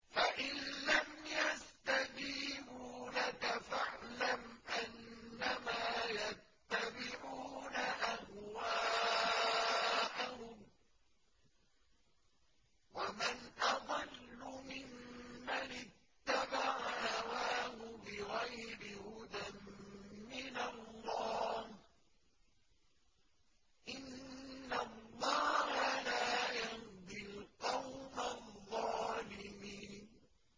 فَإِن لَّمْ يَسْتَجِيبُوا لَكَ فَاعْلَمْ أَنَّمَا يَتَّبِعُونَ أَهْوَاءَهُمْ ۚ وَمَنْ أَضَلُّ مِمَّنِ اتَّبَعَ هَوَاهُ بِغَيْرِ هُدًى مِّنَ اللَّهِ ۚ إِنَّ اللَّهَ لَا يَهْدِي الْقَوْمَ الظَّالِمِينَ